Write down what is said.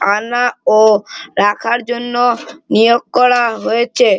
আনা ও রাখার জন্য নিয়োগ করা হয়েছে।